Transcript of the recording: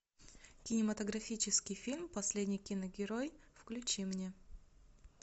кинематографический фильм последний киногерой включи мне